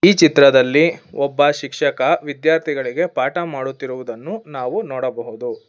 ಈ ಚಿತ್ರದಲ್ಲಿ ಒಬ್ಬ ಶಿಕ್ಷಕ ವಿದ್ಯಾರ್ಥಿಗಳಿಗೆ ಪಾಠ ಮಾಡುತ್ತಿರುವುದನ್ನು ನಾವು ನೋಡಬಹುದು.